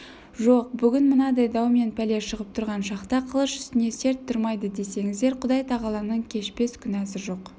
жоқ бүгін мынадай дау мен пәле шығып тұрған шақта қылыш үстінде серт тұрмайды десеңіздер құдайтағаланың кешпес күнәсі жоқ